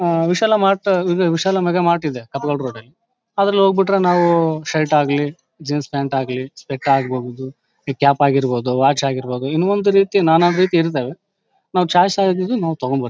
ಅಹ್ Vishal mart Vishal mega mart ಇದೆ ಕಪ್ ಲಲ್ ರೋಡ್ ಅಲ್ಲಿ. ಅದ್ರಲ್ಲಿ ಹೋಗ ಬಿಟ್ರೆ ನಾವು ಸೈಟ್ ಆಗ್ಲಿ ಜೀನ್ಸ್ ಪ್ಯಾಂಟ್ ಆಗ್ಲಿ ಸೆಟ್ ಆಗಬಹುದು ಈ ಕ್ಯಾಪ್ ಆಗಿರಬಹುದು ವಾಚ್ ಆಗಿರಬಹುದು ಇನ್ನ ಒಂದ್ ರೀತಿ ನಾನಾ ರೀತಿ ಇರತ್ತವೇ ನಾವು ಚಾಯ್ಸ್ ಆಗಿದ್ದು ನಾವು ತೊಕೊಂಬರ್ತ್ತಿವಿ.